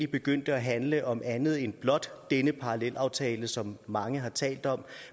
begyndte at handle om andet end blot denne parallelaftale som mange har talt om